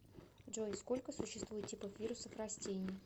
джой сколько существует типов вирусов растений